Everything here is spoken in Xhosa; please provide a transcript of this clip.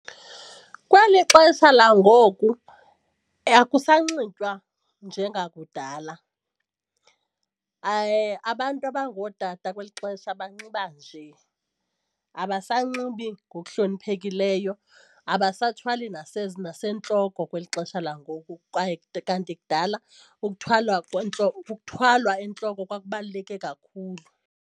Kweli xesha langoku akusanxitywa njengakudala. Abantu abangootata kweli xesha banxiba nje, abasanxibi ngokuhloniphekileyo, abasathwali nasentloko kweli xesha langoku kwaye kanti kudala ukuthwalwa ukuthwalwa entloko kwakubaluleke kakhulu.